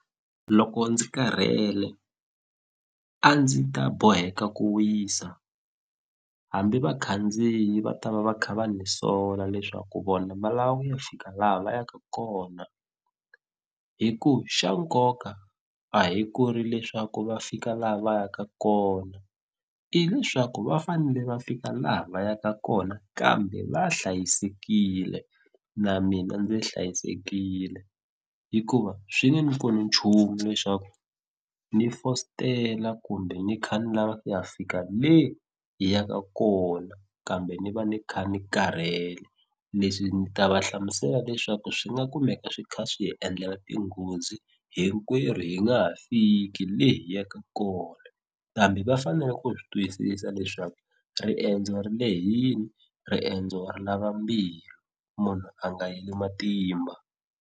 Loko ndzi karhele a ndzi ta boheka ku wisa hambi vakhandziyi va ta va va kha va ni sola leswaku vona va lava ku ya fika laha va yaka kona hi ku xa nkoka a hi ku ri leswaku va fika laha va yaka kona i leswaku va fanele va fika laha va yaka kona kambe va hlayisekile na mina ndzi hlayisekile hikuva swi nge ni pfuni nchumu leswaku ni fositela kumbe ni kha ni lava ku ya fika le hi yaka kona kambe ni va ni kha ni karhele leswi ni ta va hlamusela leswaku swi nga kumeka swi kha swi hi endlela tinghozi hinkwerhu hi nga ha fiki le hi yaka kona kambe va fanele ku swi twisisa leswaku riendzo ri lehini riendzo ri lava mbilu munhu a nga heli matimba.